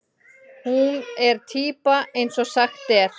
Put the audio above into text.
Hún er týpa eins og sagt er.